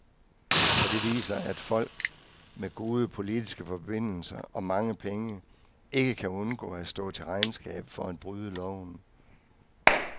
For det viser, at folk med gode politiske forbindelser og mange penge ikke kan undgå at stå til regnskab for at bryde loven.